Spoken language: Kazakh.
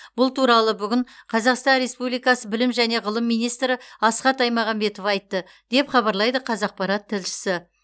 бұл туралы бүгін қазақстан республикасы білім және ғылым министрі асхат аймағамбетов айтты деп хабарлайды қазақпарат тілшісі